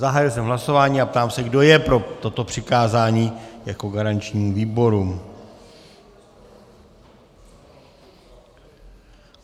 Zahájil jsem hlasování a ptám se, kdo je pro toto přikázání jako garančnímu výboru.